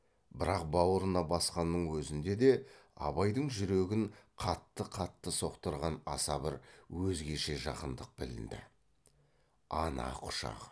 бірақ баурына басқанның өзінде де абайдың жүрегін қатты қатты соқтырған аса бір өзгеше жақындық білінді ана құшағы